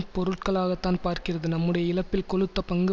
பொருட்களாகத்தான் பார்க்கிறது நம்முடைய இழப்பில் கொழுத்த பங்கு